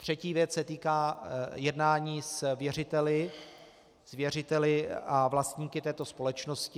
Třetí věc se týká jednání s věřiteli a vlastníky této společnosti.